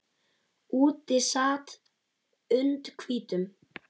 Úti sat und hvítum